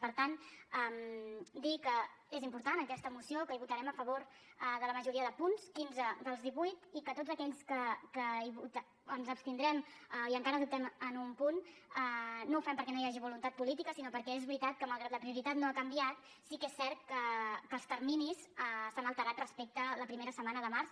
per tant dir que és important aquesta moció que votarem a favor de la majoria de punts quinze dels divuit i que en tots aquells que ens abstindrem i encara dubtem en un punt no ho fem perquè no hi hagi voluntat política sinó perquè és veritat que malgrat que la prioritat no ha canviat sí que és cert que els terminis s’han alterat respecte a la primera setmana de març